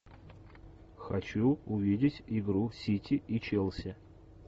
хочу увидеть игру сити и челси